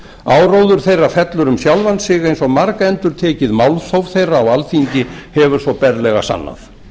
áróður þeirra fellur um sjálfan sig eins og margendurtekið málþóf þeirra á alþingi hefur svo berlega sannað